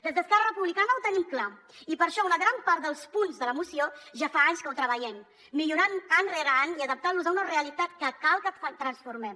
des d’esquerra re·publicana ho tenim clar i per això una gran part dels punts de la moció ja fa anys que els treballem millorant·los any rere any i adaptant·los a una realitat que cal que transformem